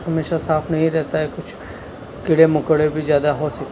हमेशा साफ नहीं रहता है कुछ कीड़े मकोड़े भी ज्याद हो सक--